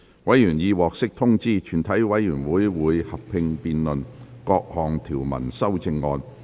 委員已獲得通知，全體委員會會合併辯論各項條文及修正案。